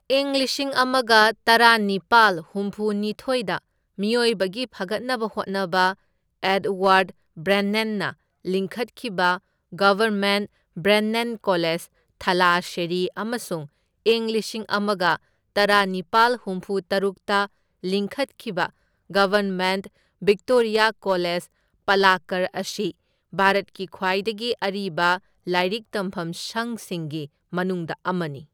ꯏꯪ ꯂꯤꯁꯤꯡ ꯑꯃꯒ ꯇꯔꯥꯅꯤꯄꯥꯜ ꯍꯨꯝꯐꯨ ꯅꯤꯊꯤꯢꯗ ꯃꯤꯑꯣꯏꯕꯒꯤ ꯐꯒꯠꯅꯕ ꯍꯣꯠꯅꯕ ꯑꯦꯗꯋꯥꯔꯗ ꯕ꯭ꯔꯦꯟꯅꯦꯟꯅ ꯂꯤꯡꯈꯠꯈꯤꯕ ꯒꯕꯔꯟꯃꯦꯟꯠ ꯕ꯭ꯔꯦꯟꯅꯦꯟ ꯀꯣꯂꯦꯖ, ꯊꯥꯂꯥꯁꯦꯔꯤ ꯑꯃꯁꯨꯡ ꯏꯪ ꯂꯤꯁꯤꯡ ꯑꯃꯒ ꯇꯔꯥꯅꯤꯄꯥꯜ ꯍꯨꯝꯐꯨꯇꯔꯨꯛꯇ ꯂꯤꯡꯈꯠꯈꯤꯕ ꯒꯕꯔ꯭ꯟꯃꯦꯟꯠ ꯚꯤꯛꯇꯣꯔꯤꯌꯥ ꯀꯣꯂꯦꯖ, ꯄꯂꯥꯛꯀꯔ ꯑꯁꯤ ꯚꯥꯔꯠꯀꯤ ꯈ꯭ꯋꯥꯏꯗꯒꯤ ꯑꯔꯤꯕ ꯂꯥꯏꯔꯤꯛ ꯇꯝꯐꯝ ꯁꯪꯁꯤꯡꯒꯤ ꯃꯅꯨꯡꯗ ꯑꯃꯅꯤ꯫